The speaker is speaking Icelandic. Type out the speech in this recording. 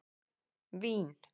Vín